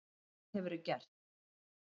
Hvað hefurðu gert?